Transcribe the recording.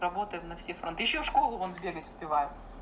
работаем на все фронты ещё в школу вон сбегать успеваем